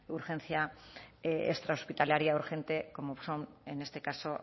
urgencia extra hospitalaria urgente como son en este caso